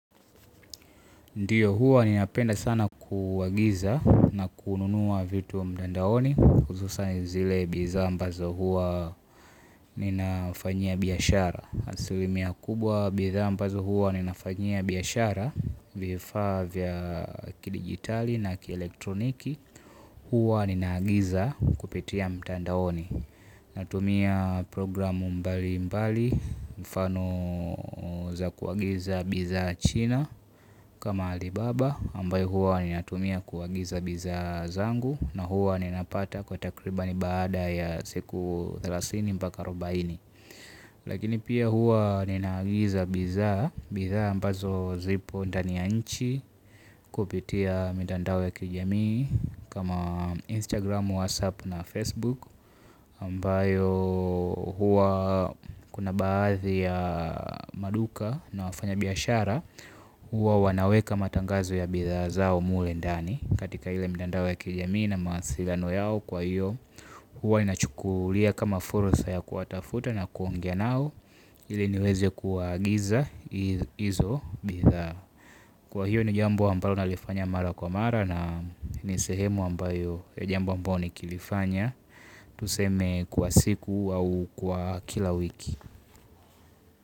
Ndio huwa ninapenda sana kuagiza na kununua vitu mtandaoni huzusan zile bizaa ambazo huwa ninafanyia biashara. Asilimia kubwa bidhaa ambazo huwa ninafanyia biashara. Vifaa vya kidigitali na kielektroniki. Huwa ninaagiza kupitia mtandaoni. Natumia programu mbali mbali. Mfano za kuagiza bizaa china kama alibaba ambayo huwa ninatumia kuagiza bizaa zangu na huwa ninapata kwa takribani baada ya siku thelathini mpaka arobaini. Lakini pia huwa ninaagiza bizaa. Bidhaa ambazo zipo ndani ya nchi. Kupitia mitandao ya kijamii Kama Instagram, WhatsApp na Facebook ambayo huwa kuna baadhi ya maduka na wafanyabiyashara huwa wanaweka matangazo ya bidhaa zao mle ndani katika ile mitandao ya kijamii na mawasiliano yao kwa hiyo huwa ninachukulia kama fursa ya kuwatafuta na kuongea nao ili niweze kuagiza hizo bidhaa kwa hiyo ni jambo ambalo nalifanya mara kwa mara na ni sehemu ambayo ya jambo ambayo nikilifanya Tuseme kwa siku au kwa kila wiki.